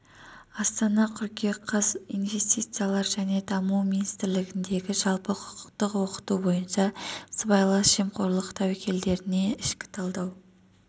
астана қыркүйек қаз инвестициялар және даму министрлігіндегі жалпы құқықтық окыту бойынша сыбайлас жемқорлық тәуекелдеріне ішкі талдау